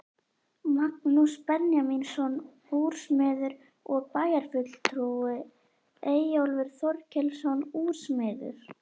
Magnús Benjamínsson úrsmiður og bæjarfulltrúi, Eyjólfur Þorkelsson úrsmiður